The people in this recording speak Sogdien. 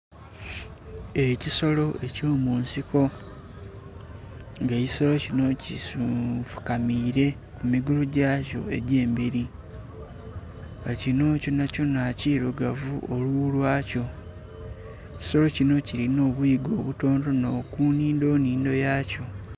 Ekisolo ekyo munsiko nga ekisolo kinho kifukamire ku mugulu ghakyo egye'mberi nga kinho kyona kyona kirugavu olughu lwakyo ekisolo kinho kilinha obwoya obutono tono ku nhindho nnindho yakyo.